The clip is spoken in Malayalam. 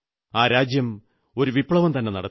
ആ രാജ്യം ഒരു വിപ്ലവം തന്നെ നടത്തി